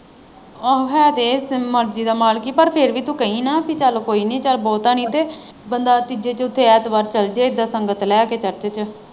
ਆਹੋ ਹੈ ਤੇ ਇਹ ਮਰਜੀ ਦਾ ਮਾਲਕ ਹੀ ਪਰ ਫਿਰ ਵੀ ਤੂੰ ਕਹੀਂ ਨਾ ਕੀ ਚੱਲ ਕੋਈ ਨੀ ਚੱਲ ਬਹੁਤਾ ਨਹੀਂ ਬੰਦਾ ਤੀਜੇ ਚੋਥੇ ਐਤਵਾਰ ਚੱਲ ਜਾਏ ਉਦਾਂ ਸੰਗਤ ਲੈ ਕੇ church ਚ।